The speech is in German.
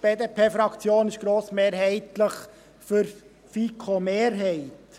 Die BDP-Fraktion ist grossmehrheitlich für die FiKo-Mehrheit.